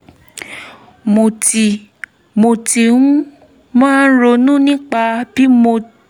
mo ti mo ti máa ń um ronú nípa bí mo